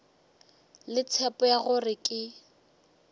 le tshepo ya gore ke